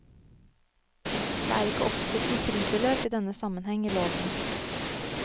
Det er ikke oppstilt noe fribeløp i denne sammenheng i loven.